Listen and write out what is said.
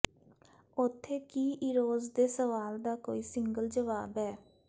ਉੱਥੇ ਕੀ ਇਰੋਜ਼ ਦੇ ਸਵਾਲ ਦਾ ਕੋਈ ਸਿੰਗਲ ਜਵਾਬ ਹੈ